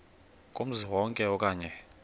kumzi wonke okanye